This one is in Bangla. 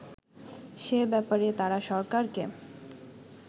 সে ব্যাপারে তারা সরকারকে